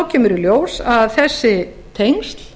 kemur í ljós að þessi tengsl